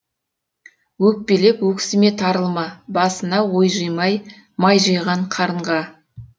өкпелеп өксіме тарылма басына ой жимай май жиған қарынға